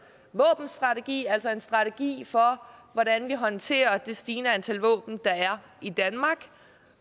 våbenstrategi altså en strategi for hvordan vi håndterer situationen med de stigende antal våben der er i danmark